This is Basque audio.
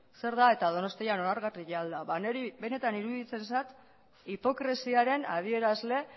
zer da eta donostian onargarria al da niri benetan iruditzen zait hipokresiaren adierazle